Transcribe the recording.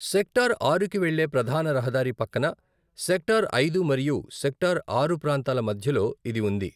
Sector ఆరుకి వెళ్లే ప్రధాన రహదారి పక్కన సెక్టార్ ఐదు మరియు సెక్టార్ ఆరు ప్రాంతాల మధ్యలో ఇది ఉంది.